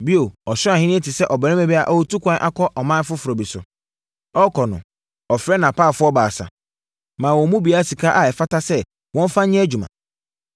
“Bio, Ɔsoro Ahennie te sɛ ɔbarima bi a ɔretu ɛkwan akɔ ɔman foforɔ bi so. Ɔrekɔ no, ɔfrɛɛ nʼapaafoɔ baasa, maa wɔn mu biara sika a ɛfata sɛ wɔmfa nyɛ adwuma.